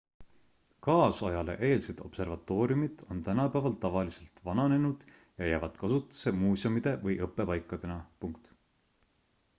kaasajale eelsed observatooriumid on tänapäeval tavaliselt vananenud ja jäävad kasutusse muuseumide või õppepaikadena